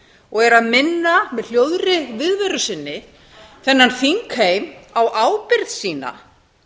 og eru að minna með hljóðri viðveru sinni þennan þingheim á ábyrgð sína